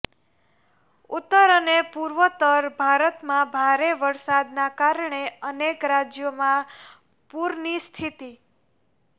ઉત્તર અને પૂર્વોત્તર ભારતમાં ભારે વરસાદના કારણે અનેક રાજ્યોમાં પૂરની સ્થિતિ